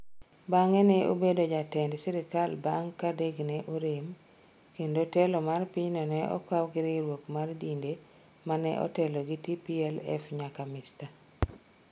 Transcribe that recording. Bang’e ne obedo jatend sirkal bang’ ka Derg ne orem kendo telo mar pinyno ne okaw gi riwruok mar dinde ma ne otelo gi TPLF nyaka Mr.